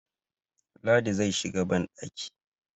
ladi zai shiga bandaki